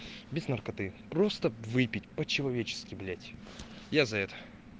без наркоты просто выпить по-человечески блять я за это